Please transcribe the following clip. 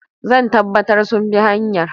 Zan tabbatar sun bi hanyar.